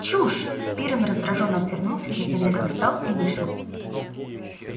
чушь пиренн раздражённо отвернулся затем резко встал и вышел